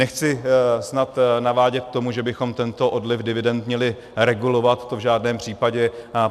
Nechci snad navádět k tomu, že bychom tento odliv dividend měli regulovat, to v žádném případě.